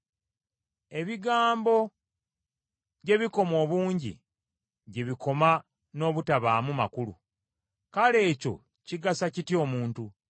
Ebigambo gye bikoma obungi, gye bikoma n’obutabaamu makulu; kale ekyo kigasa kitya omuntu?